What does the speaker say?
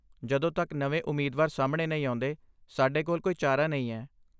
ਜਦੋਂ ਤੱਕ ਨਵੇਂ ਉਮੀਦਵਾਰ ਸਾਹਮਣੇ ਨਹੀਂ ਆਉਂਦੇ, ਸਾਡੇ ਕੋਲ ਕੋਈ ਚਾਰਾ ਨਹੀਂ ਹੈ।